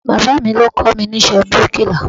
Bàbáà mi ló kọ́ mi ní iṣẹ́ bíríkìlà.